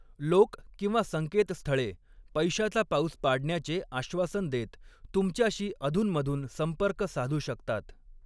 लोक किंवा संकेतस्थळे पैशाचा पाऊस पाडण्याचे आश्वासन देत तुमच्याशी अधूनमधून संपर्क साधू शकतात.